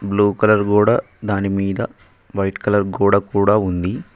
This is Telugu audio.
బ్లూ కలర్ గోడా దానిమీద వైట్ కలర్ గోడ కూడా ఉంది.